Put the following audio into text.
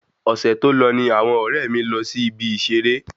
Ọsẹ tó lọ ní àwọn ọrẹ mi lọ sí ìbi ìseré